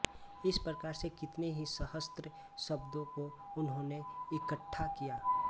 इस प्रकार से कितने ही सहस्र शब्दों को उन्होंने इकट्ठा किया